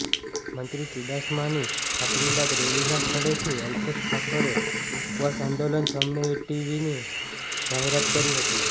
મંત્રી ચૂડાસમાની ખાતરી બાદ રેલીના સ્થળેથી અલ્પેશ ઠાકોરે ઉપવાસ આંદોલન સમેટવીની જાહેરાત કરી હતી